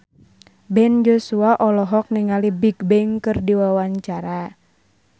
Ben Joshua olohok ningali Bigbang keur diwawancara